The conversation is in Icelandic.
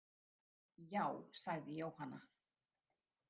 Já, sagði Jóhanna.